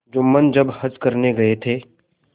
जुम्मन जब हज करने गये थे